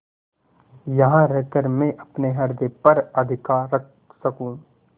यहाँ रहकर मैं अपने हृदय पर अधिकार रख सकँू